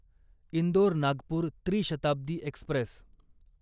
इंदोर नागपूर त्री शताब्दी एक्स्प्रेस